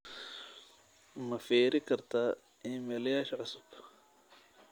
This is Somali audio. ma firi kartaa iimaylyasha cusub